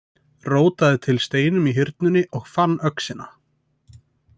Rótaði til steinum í Hyrnunni og fann öxina.